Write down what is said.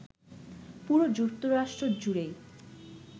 পুরো যুক্তরাষ্ট্র জুড়েই